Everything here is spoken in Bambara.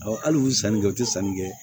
hali u sannikɛ u tɛ sanni kɛ